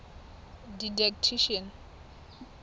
didactician